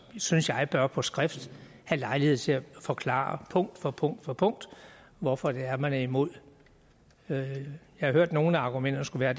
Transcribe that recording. synes jeg bør på skrift have lejlighed til at forklare punkt for punkt for punkt hvorfor det er man er imod det jeg har hørt at nogle af argumenterne skulle være